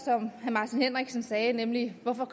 herre martin henriksen sagde nemlig hvorfor